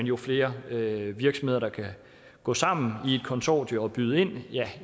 jo flere virksomheder der kan gå sammen i et konsortium og byde ind